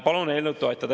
Palun eelnõu toetada.